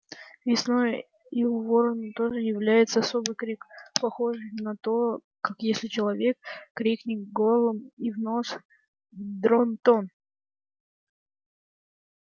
весной и у ворона тоже является особый крик похожий на то как если человек крикнет горлом и в нос дрон-тон